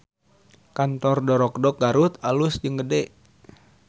Kantor Dorokdok Garut alus jeung gede